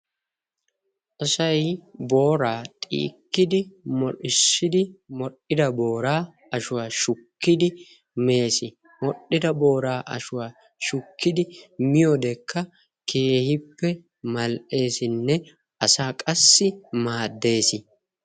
Asay booraa xiikkidi modhdhissidi, modhdhida booraa ashuwa shukkidi mees. Modhdhida booraa ashuwa shukkidi miyodekka keehippe mal"eessinne asaa qassi maaddees.